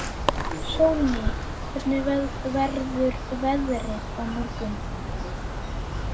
Sólný, hvernig verður veðrið á morgun?